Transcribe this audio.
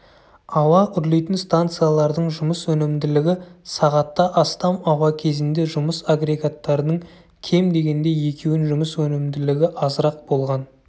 ауа үрлейтін станциялардың жұмыс өнімділігі сағатта астам ауа кезінде жұмыс агрегаттарының кем дегенде екеуін жұмыс өнімділігі азырақ болған